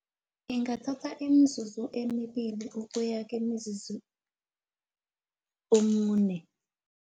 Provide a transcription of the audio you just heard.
Ingathatha imizuzu emibili, ukuyake mizuzu omune